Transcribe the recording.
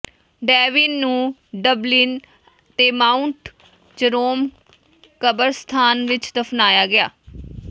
Devin ਨੂੰ Dublin ਦੇ Mount Jerome ਕਬਰਸਤਾਨ ਵਿਚ ਦਫਨਾਇਆ ਗਿਆ